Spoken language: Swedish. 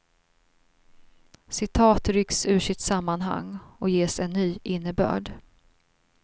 Citat rycks ur sitt sammanhang och ges en ny innebörd.